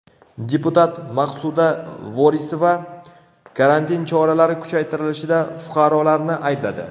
Deputat Maqsuda Vorisova karantin choralari kuchaytirilishida fuqarolarni aybladi.